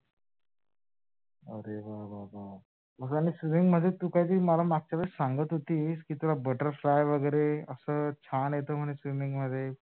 अरे वा वा वा, आणि swimming मध्ये तू काहीतरी मागच्या वेळेस सांगत होतीस की तुला butterfly वैगेरे अस छान येत म्हणे swimming मध्ये